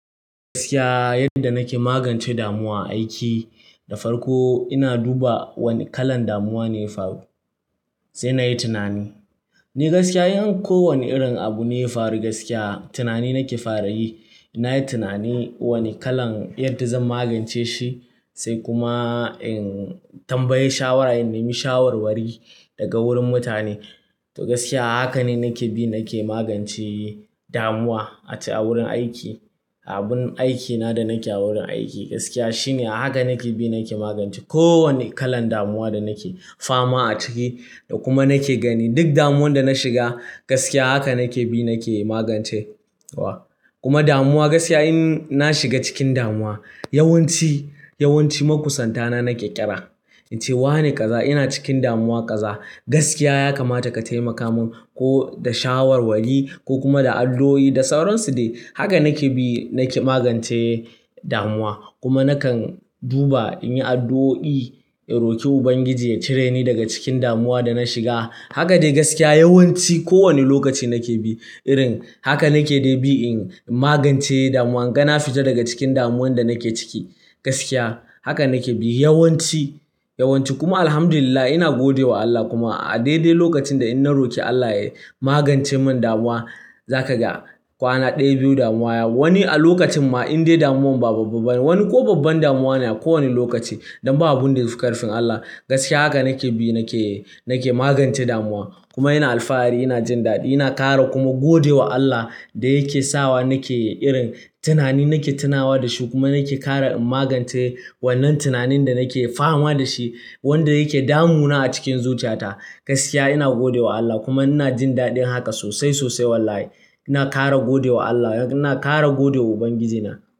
Gaskiya yadda nake magance damuwa aiki da farko ina duba wane kalan damuwa ne faru sai nayi tunanin. Ni gaskiya in ko wani irin abu ne ya faru gaskiya tunani nake fara yi. Na yi tunani wane kalan yadda zan magance shi sai kuma in tambayi shawara in ney mi shawarwari daga wurin mutane. To gaskiya haka ne nake bi nake magance damuwa a cikin wurin aiki. Abun aikina da nake awurin aiki gaskiya shine a haka nake bi nake magance kowane kalan damuwa da nake fama a ciki da kuma nake gani duk damuwan da na shiga gaskiya haka nake bi nake magance wa. Kuma damuwa gaskiya in na shiga cikin damuwa yawanci, yawanci makusantana nake ƙira, inci wane ƙaza ina cikin damuwa ƙaza gaskiya ya kamata ka taimaka mun ko da shawarwari ko kuma da addu'o'i da sauransu dai. Haka nake bi nake magance damuwa. Kuma nakan duba in yi addu'o'i in roki Ubangiji ya cire ni daga cikin damuwa da na shiga. Haka dai gaskiya yawanci kowane lokaci nake bi irin haka nake dai bi in magance damuwa inga na fita daga cikin damuwan da nake ciki gaskiya haka nake bi yawanci, yawanci kuma Alhamdulillah ina gode wa Allah kuma a daidai lokacin da in na roki Allah ya magance mun damuwa za ka ga kwana ɗaya biyu damuwa ya wani a lokacin ma in dai damuwan ba babban ba ne wani ko babban damuwa ne a kowane lokaci don ba abun da ya fi ƙarfin Allah. Gaskiya haka nake bi nake, nake magance damuwa kuma ina alfahari ina jin daɗi ina ƙara kuma gode wa Allah da yake sawa nake irin tunani nake tunawa da shi kuma nake kara in magance wannan tunanin da nake fama da shi wanda yake damuna a cikin zuciyata. Gaskiya ina gode wa Allah kuma ina jin daɗin haka sosai, sosai wallahi. Ina kara gode wa Allah, ina kara gode wa Ubangijina.